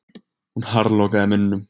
Hún harðlokaði munninum.